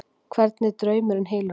Hvernig draumurinn hylur hana.